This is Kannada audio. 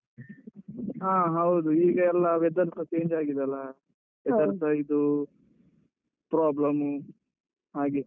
ಹಾ, ಹೌದು. ಈಗ ಎಲ್ಲ weather ಸ change ಆಗಿದೆ ಅಲ್ಲ. ಇದು problem ಉ ಹಾಗೆ.